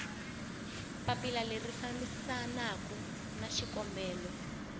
papila leri fambisanaku na xikombelo